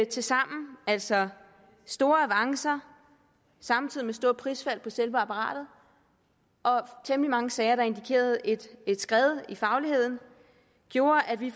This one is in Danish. tilsammen altså store avancer samtidig med store prisfald på selve apparatet og temmelig mange sager der indikerede et skred i fagligheden gjorde at vi